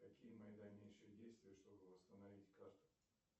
какие мои дальнейшие действия чтобы восстановить карту